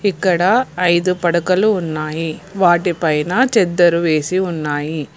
ఇక్కడ ఐదు పడకలు ఉన్నాయి వాటి పైన చెద్దర్ వేసి ఉన్నాయి.